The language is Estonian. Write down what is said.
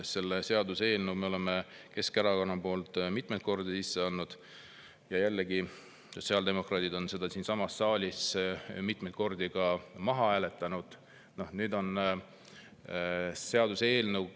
Selle seaduseelnõu me oleme Keskerakonna poolt mitmeid kordi sisse andnud ja jällegi on sotsiaaldemokraadid selle siinsamas saalis mitmeid kordi maha hääletanud.